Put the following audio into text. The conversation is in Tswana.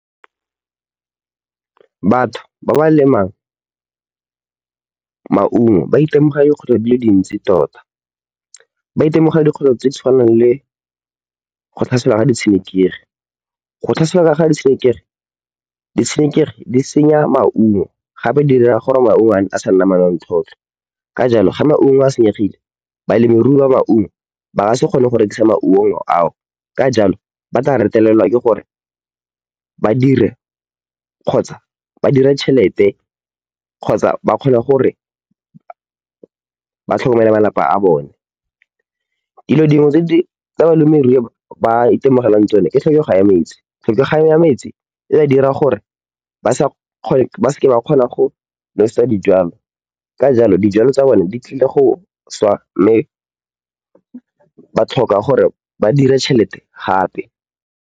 Batho ba ba lemang maungo ba itemogela dikgwetlho di le dintsi tota. Ba itemogela dikgwetlho tse di tshwanang le go tlhaselwa ke ditshenekegi. Ditshenekegi di senya maungo gape dira gore maungo a a se ke a nna manontlhotlho. Ka jalo, fa maungo a senyegile, balemirui ba maungo ba ka se kgone go rekisa maungo ao, ka jalo ba tla retelelwa ke gore ba dire kgotsa ba dire tšhelete kgotsa ba kgone gore ba tlhokomele malapa a bone. Dilo dingwe tse balemirui ba itemogelang tsone ke tlhokego ya metsi. Tlhokego ya metsi e ba dira gore ba se ke ba kgona go nosetsa dijwalo, ka jalo dijwalo tsa bone di tlile go swa mme ba tlhoka gore ba dire tšhelete gape.